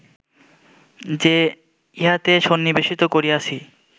যে ইহাতে সন্নিবেশিত করিয়াছি